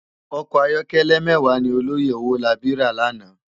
Òkò àyòkèlè mèwá ni òlòyé Owolabi rá làná